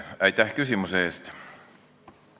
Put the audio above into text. Aitäh küsimuse eest!